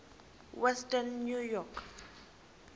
western new york